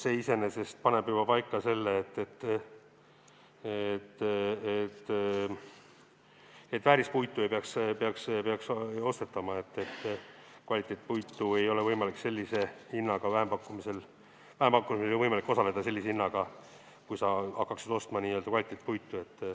See iseenesest paneb paika selle, et väärispuitu ei peaks ostetama, vähempakkumisel ei ole võimalik sellise hinnaga osaleda, kui sa hakkaksid ostma kvaliteetpuitu.